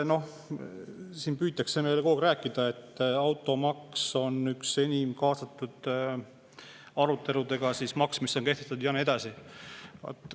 Noh, siin püütakse meile kogu aeg rääkida, et automaks on üks kehtestatud maksudest, mille on kaasatud enim, ja nii edasi.